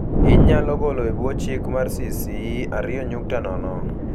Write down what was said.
Inyalo gole e bwo chik mar CC 2.0.